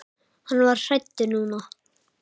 Hann var hræddur núna.